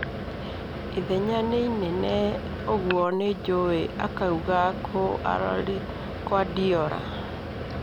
Ithenya nĩ inene, ũguo nĩnjũĩ, akauga Kuardiola